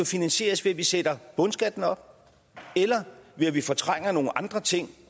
finansieres ved at vi sætter bundskatten op eller ved at vi fortrænger nogle andre ting